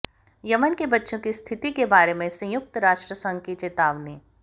Yemen के बच्चों की स्थिति के बारे में संयुक्त राष्ट्र संघ की चेतावनी